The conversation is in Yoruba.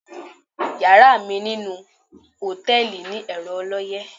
Yàrá mi ninú hòtẹ̣́ẹ̀lì ni ẹ̀rọ ọlọ́yẹ́.